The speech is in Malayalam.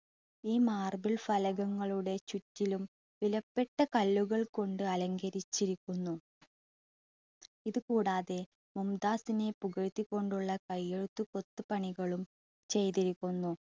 ഈ marble ഫലകങ്ങളുടെ ചുറ്റിലും വിലപ്പെട്ട കല്ലുകൾ കൊണ്ട് അലങ്കരിച്ചിരിക്കുന്നു. ഇതുകൂടാതെ മുംതാസിനെ പുകഴ്ത്തിക്കൊണ്ടുള്ള കയ്യെഴുത്തു കൊത്തുപണികളും ചെയ്തിരിക്കുന്നു.